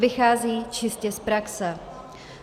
Vychází čistě z praxe.